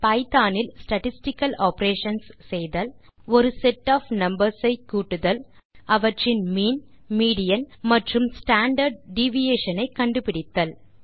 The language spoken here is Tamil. பைத்தோன் இல் ஸ்டாட்டிஸ்டிக்கல் ஆப்பரேஷன்ஸ் செய்தல் ஒரு செட் ஒஃப் நம்பர்ஸ் ஐ கூட்டுதல் அவற்றின் மீன் மீடியன் மற்றும் ஸ்டாண்டார்ட் டிவியேஷன் ஐ கண்டுபிடித்தல்